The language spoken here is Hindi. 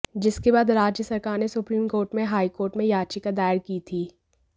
जिसके बाद राज्य सरकार ने सुप्रीम कोर्ट में हाईकोर्ट में याचिका दायर की थी